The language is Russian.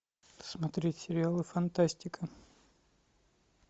смотреть сериалы фантастика